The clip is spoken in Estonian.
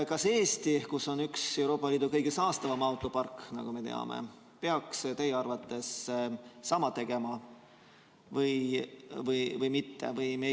Kas Eesti, kus on üks Euroopa Liidu kõige saastavamaid autoparke, nagu me teame, peaks teie arvates sama tegema või mitte?